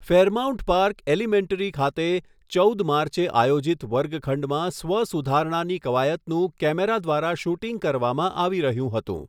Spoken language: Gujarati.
ફેરમાઉન્ટ પાર્ક એલિમેન્ટરી ખાતે ચૌદ માર્ચે આયોજિત વર્ગખંડમાં સ્વ સુધારણાની કવાયતનું કૅમેરા દ્વારા શૂટિંગ કરવામાં આવી રહ્યું હતું.